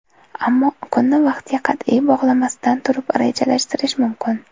Ammo kunni vaqtga qat’iy bog‘lamasdan turib rejalashtirish mumkin.